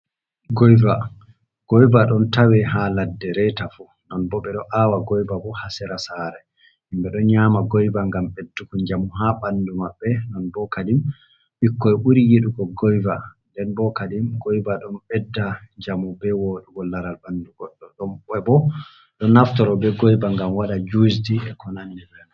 Goyba, goyba ɗon tawe haa ladde reta fu, non bo ɓe ɗo aawa goyba haa sera saare. Himɓe ɗo nyaama goyba, ngam ɓedduku njamu ,haa ɓanndu maɓɓe. Non bo kadin bikkoy ɓuri yiɗugo goyva .Nden bo kadin goyba ɗon ɓedda njamu be woɗugo laral ɓanndu. Goɗɗo bo ɗo naftoro be goyba, ngam waɗa jiwusji e ko nanndi be man.